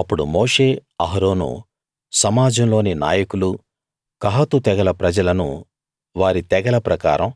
అప్పుడు మోషే అహరోనూ సమాజంలోని నాయకులూ కహాతు తెగల ప్రజలను వారి తెగల ప్రకారం